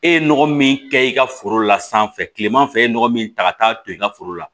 E ye nɔgɔ min kɛ i ka foro la sanfɛ kilema fɛ e ye nɔgɔ min ta ka taa don i ka foro la